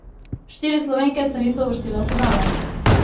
Štiri Slovenke se niso uvrstile v finale.